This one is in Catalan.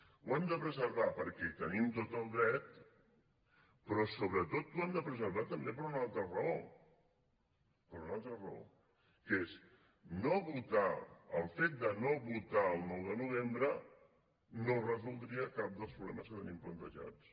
ho hem de preservar perquè hi tenim tot el dret però sobretot ho hem de preservar també per una altra raó per una altra raó que és el fet de no votar el nou de novembre no resoldria cap dels problemes que tenim plantejats